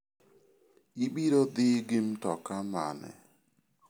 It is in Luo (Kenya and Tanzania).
Ibiro dhi gi mtoka mane?